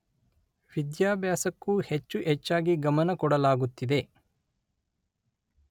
ವಿದ್ಯಾಭ್ಯಾಸಕ್ಕೂ ಹೆಚ್ಚು ಹೆಚ್ಚಾಗಿ ಗಮನ ಕೊಡಲಾಗುತ್ತಿದೆ